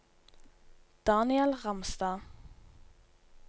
Daniel Ramstad